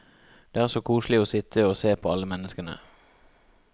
Det er så koselig å sitte og se på alle menneskene.